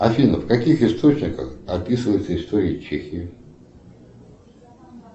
афина в каких источниках описывается история чехии